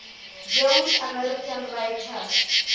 jewish american writers